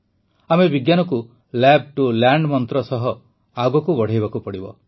ଆମେ ବିଜ୍ଞାନକୁ lab to land ମନ୍ତ୍ର ସହ ଆଗକୁ ବଢ଼ାଇବାକୁ ପଡ଼ିବ